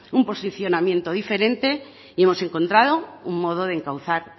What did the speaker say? un posicionamiento diferente y hemos encontrado un modo de encauzar